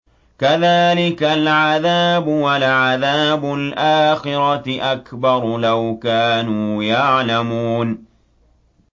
كَذَٰلِكَ الْعَذَابُ ۖ وَلَعَذَابُ الْآخِرَةِ أَكْبَرُ ۚ لَوْ كَانُوا يَعْلَمُونَ